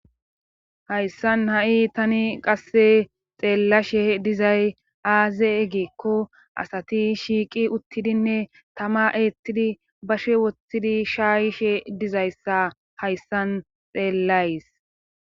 Hayssan ha'i tani qasse xeellashe dizay aaze eggikko asati shiiqi uttidinne tama eettidi bashe wothtidi shaayishe dizayssa hayssan xeellays.